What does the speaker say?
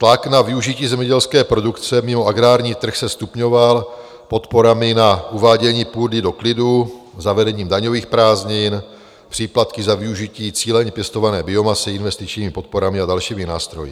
Tlak na využití zemědělské produkce mimo agrární trh se stupňoval podporami na uvádění půdy do klidu zavedením daňových prázdnin, příplatky za využití cíleně pěstované biomasy, investičními podporami a dalšími nástroji.